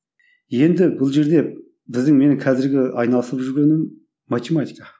енді бұл жерде біздің менің қазіргі айналысып жүргенім математика